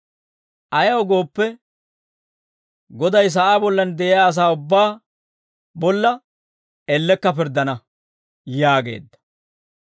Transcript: Ayaw gooppe, Goday sa'aa bollan de'iyaa asaa ubbaa bolla, ellekka pirddana» yaageedda.